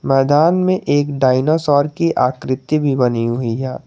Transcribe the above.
मैदान में एक डायनासोर की आकृति भी बनी हुई है।